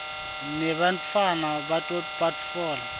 nebantfwana bato batfola